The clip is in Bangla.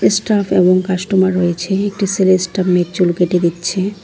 এস্টাফ এবং কাস্টমার রয়েছে একটি ছেলে স্টাফ মেয়ের চুল কেটে দিচ্ছে।